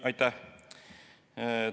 Aitäh!